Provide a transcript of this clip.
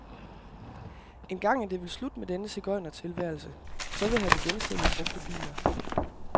Engang er det vel slut med denne sigøjnertilværelse, så vil han igen sælge brugte biler.